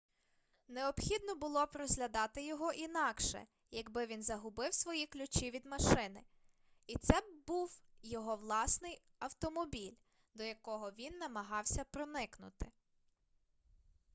необхідно було б розглядати його інакше якби він загубив свої ключі від машини і це б був його власний автомобіль до якого він намагався проникнути